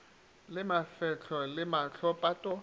le mafehlo le maho pato